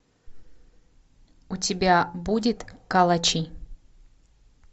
у тебя будет калачи